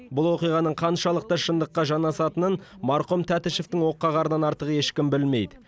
бұл оқиғаның қаншалықты шындыққа жанасатынын марқұм тәтішевтің оққағарынан артық ешкім білмейді